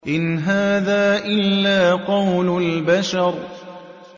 إِنْ هَٰذَا إِلَّا قَوْلُ الْبَشَرِ